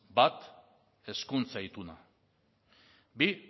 bi